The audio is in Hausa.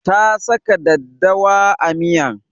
Ta saka daddawa a miyan